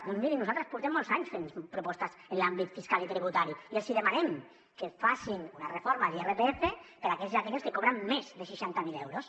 doncs mirin nosaltres portem molts anys fent propostes en l’àmbit fiscal i tributari i els demanem que facin una reforma de l’irpf per a aquells i aquelles que cobren més de seixanta miler euros